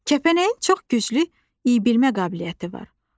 Kəpənəyin çox güclü iyləyə bilmə qabiliyyəti var.